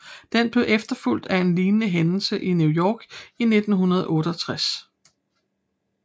Den blev efterfulgt af en lignende hændelse i New York i 1968